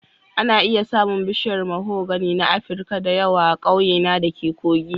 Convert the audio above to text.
Ana iya samun bishiyar mahogany na Afirka da yawa a ƙauyena da ke Kogi